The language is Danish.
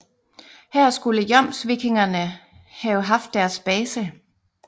Her skulle jomsvikingerne have haft deres base